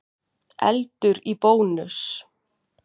Eldur í Bónus